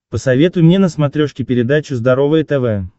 посоветуй мне на смотрешке передачу здоровое тв